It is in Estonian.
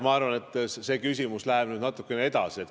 Ma arvan, et see küsimus läheb natuke edasi.